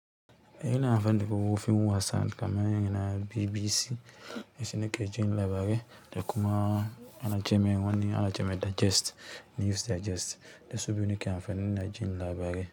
E ina amfani da kuku fim wasan kamar yanzu na BBC mai suna ke ji labarai, da kuma ana jeme wannan ana jeme digest, news digest da su biyu ne ke amfani na jin labarai.